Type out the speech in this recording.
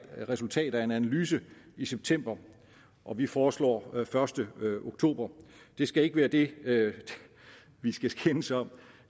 resultat af en analyse i september og vi foreslår første oktober det skal ikke være det vi skal skændes om